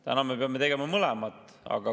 Täna me peame tegema mõlemat.